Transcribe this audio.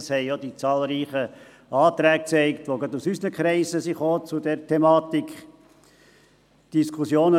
Das haben auch die zahlreichen Anträge gezeigt, die gerade aus unseren Kreisen zu dieser Thematik gestellt wurden.